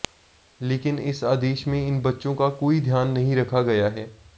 लेकिन इस आदेश में इन बच्चों का कोई ध्यान नहीं रखा गया है